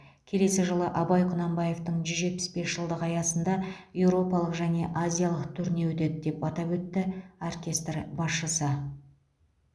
келесі жылы абай құнанбаевтың жүз жетпіс бес жылдығы аясында еуропалық және азиялық турне өтеді деп атап өтті оркестр басшысы